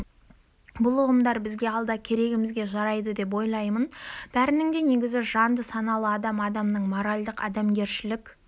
бұл ұғымдар бізге алда керегімізге жарайды деп ойлаймын бәрінің де негізі жанды саналы адам адамның моральдық-адамгершілік